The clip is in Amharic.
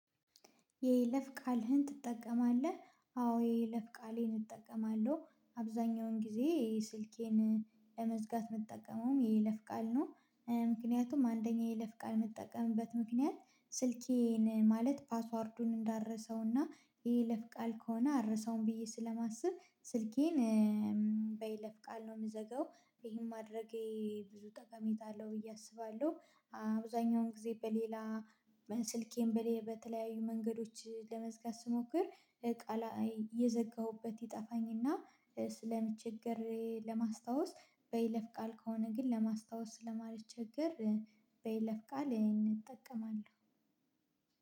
የይለፍ ቃልህን ትጠቀማለህ? አዎ የይለፍ ቃሌን እጠቀማለሁ አብዛኛውን ጊዜ ስልኬን ለመዝጋት የምጠቀመውም የለፍ ቃል ነው ምክንያቱም አንደኛ የይለፍ ቃል የምጠቀምበት ምክንያት ስልኬን ማለት ፓስዋርዱን እንዳረሰውና የይለፍ ቃል ከሆነ አረሳውም ብዬ ስለማስብ ስልኬን በይለፍ ቃል ነው የምዘጋው ይሄን ማድረጌ ብዙ ጠቀሜታ አለው ብዬ አስባለሁ አብዛኛውን ጊዜ በሌላ ስልኬን በተለያዩ መንገዶች ለመዝጋት ስሞክር ቃል የዘጋሁበት ይጠፋኝና ስለምቸገር ለማስታወስ በይለፍ ቃል ከሆነ ግን ለማስታወስ ስለማልቸገር በይለፍ ቃል እጠቀማለሁ።